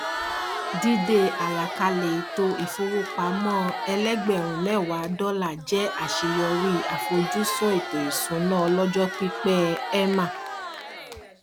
dídé àlàkalẹ ètò ìfowópamọ ẹlẹgbẹrún mẹwàá dọlà jẹ àṣeyọrí àfojúsùn ètò ìṣúná ọlọjọ pípẹ ẹ emma